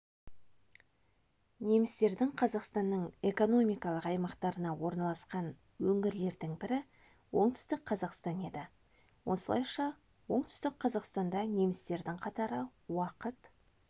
немістердің қазақстанның экономикалық аймақтарына орналасқан өңірлердің бірі оңтүстік қазақстан еді осылайша оңтүстік қазақстанда немістердің қатары уақыт